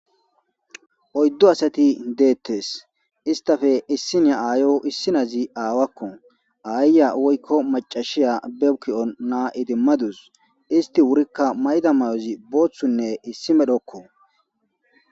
Oyddu asati deetes, istappe issiniya aayo issinazi aawako, aayiya woykko maccashiya be ki'on na'a idimadus; isti wurikka mayida mayozi boothunne issi medhoko.